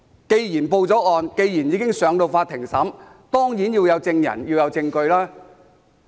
既然已經報案，案件已經交由法院審理，當然要有證人和證據。